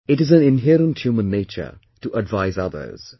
It is an inherent human nature to advise others